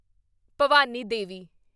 Bhavani Devi